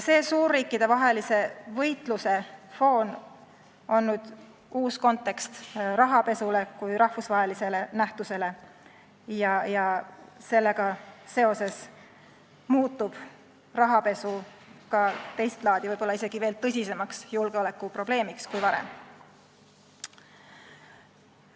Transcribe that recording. See suurriikidevahelise võitluse foon on uus kontekst rahapesule kui rahvusvahelisele nähtusele ja sellega seoses muutub rahapesu ka teist laadi, võib-olla isegi veel tõsisemaks julgeolekuprobleemiks kui varem.